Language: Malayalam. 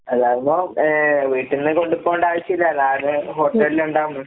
അതാവുമ്പോ ഏഹ് വീട്ട്ന്ന് കൊണ്ട് പോവണ്ട ആവശ്യില്ലാലോ, അത് ഹോട്ടലിലിണ്ടാവല്ലോ.